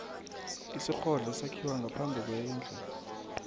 isirhodlo sakhiwa ngaphambi kwendlu